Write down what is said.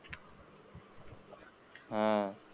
हा